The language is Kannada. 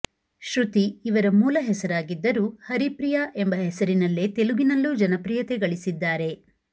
ಶ್ರುತಿ ಇವರ ಮೂಲ ಹೆಸರಾಗಿದ್ದರು ಹರಿಪ್ರಿಯಾ ಎಂಬ ಹೆಸರಿನಲ್ಲೇ ತೆಲುಗಿನಲ್ಲೂ ಜನಪ್ರಿಯತೆ ಗಳಿಸಿದ್ದಾರೆ